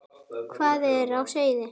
Hvað er á seyði?